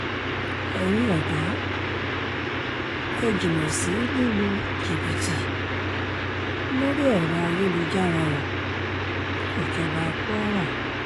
ẹ̀yin ọ̀dọ́ ẹ̀ jìnnà sí lílu jìbìtì lórí ẹ̀rọ ayélujára o-ìjọba kwara